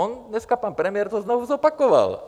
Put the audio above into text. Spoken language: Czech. On dneska pan premiér to znovu zopakoval.